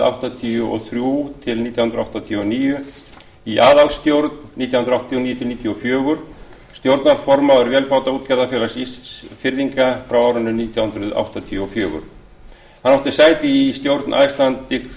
áttatíu og þrjú til nítján hundruð áttatíu og níu í aðalstjórn nítján hundruð áttatíu og níu til nítján hundruð níutíu og fjögur stjórnarformaður vélbátaútgerðarfélags ísfirðinga frá nítján hundruð áttatíu og fjögur hann átti sæti í stjórn icelandic freezing